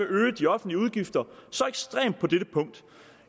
øge de offentlige udgifter så ekstremt på dette punkt